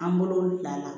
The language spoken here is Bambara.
An bolo danna